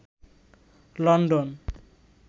London